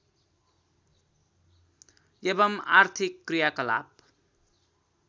एवं आर्थिक क्रियाकलाप